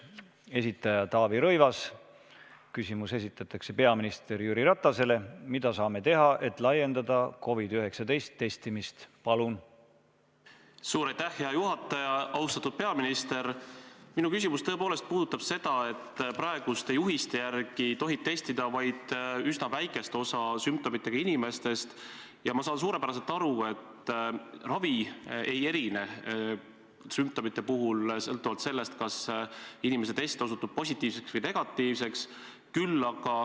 Esitaja Taavi Rõivas, küsimus on peaminister Jüri Ratasele: mida saame teha, et laiendada COVID-19 testimist?